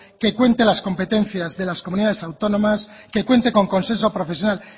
que cuente las competencias de las comunidades autónomas que cuente con consenso profesional